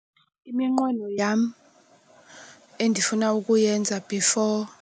Iminqweno yam endifuna ukuyenza before.